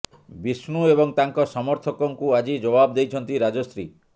ବିଷ୍ଣୁ ଏବଂ ତାଙ୍କ ସମର୍ଥକଙ୍କୁ ଆଜି ଜବାବ ଦେଇଛନ୍ତି ରାଜଶ୍ରୀ